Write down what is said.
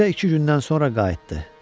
Mirzə iki gündən sonra qayıtdı.